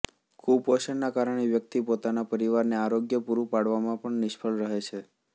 કુપોષણના કારણે વ્યક્તિ પોતાના પરિવારને આરોગ્ય પૂરું પાડવામાં પણ નિષ્ફળ રહે છે